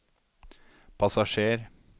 passasjer